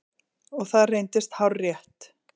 Og það reyndist hárrétt.